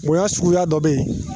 Bonya suguya dɔ bɛ yen.